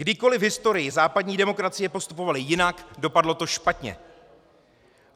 Kdykoliv v historii západní demokracie postupovaly jinak, dopadlo to špatně.